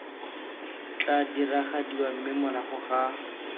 tla diragadiwa mme morago ga